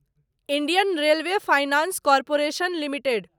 Indian railway finance corporation limited